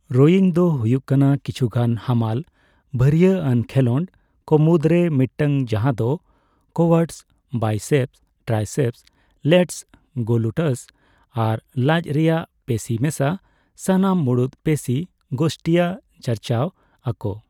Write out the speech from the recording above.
Rowing ᱫᱚ ᱦᱩᱭᱩᱜ ᱠᱟᱱᱟ ᱠᱤᱪᱷᱩ ᱜᱟᱱ ᱦᱟᱢᱟᱞ ᱵᱷᱟᱹᱨᱤᱭᱟᱹ ᱟᱱ ᱠᱷᱮᱞᱳᱰ ᱠᱚ ᱢᱩᱫᱽᱨᱮ ᱢᱤᱫᱴᱟᱝ ᱡᱟᱦᱟᱸ ᱫᱚ quads, biceps, triceps, lats, glutes ᱟᱨ ᱞᱟᱡ ᱨᱮᱭᱟᱜ ᱯᱮᱥᱤ ᱢᱮᱥᱟ ᱥᱟᱱᱟᱢ ᱢᱩᱲᱩᱫ ᱯᱮᱥᱤ ᱜᱳᱥᱴᱤᱭᱟᱜ ᱪᱟᱨᱪᱟᱣ ᱟᱠᱚ ᱾